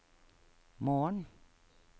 morgen